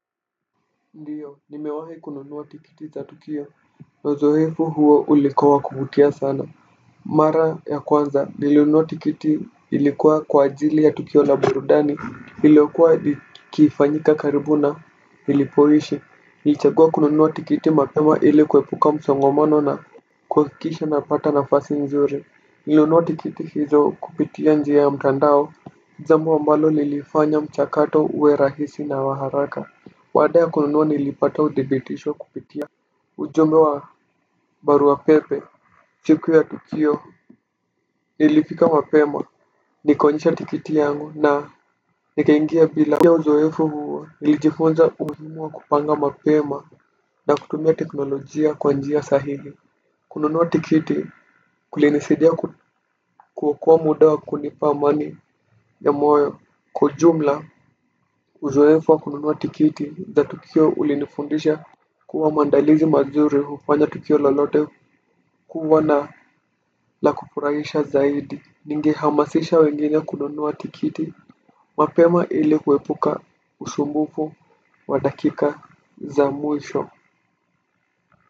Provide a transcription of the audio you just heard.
Ndiyo nimewahi kununua tikiti za tukio na uzoefu huo ulikuwa wa kuvutia sana mara ya kwanza nilinunua tikiti ilikuwa kwa ajili ya tukio na burudani iliyokuwa ikifanyika karibu na nilipoishi ilichagua kununuwa tikiti mapema ili kuepuka msongomano na kuhakikisha napata nafasi nzuri nilnunua tikiti hizo kupitia njia ya mtandao jambo ambalo lilifanya mchakato uwe rahisi na wa haraka baada ya kununua nilipata udhibitisho kupitia ujumbe wa barua pepe, siku ya Tukio, nilifika mapema, nikaonyesha tikiti yangu na nikaingia bila kupitia uzoefu huo, nilijifunza umuhimu wa kupanga mapema na kutumia teknolojia kwa njia sahihi. Kununua tikiti, kulinisaidia kuokoa muda wa kunipa amani ya moyo. Kwa ujumla uzoefu wa kununua tikiti za Tukio ulinifundisha kuwa maandalizi mazuri hufanya tukio lolote kuwa na la kufurahisha zaidi. Ningehamasisha wengine kununua tikiti mapema ili kuepuka usumbufu wa dakika za mwisho.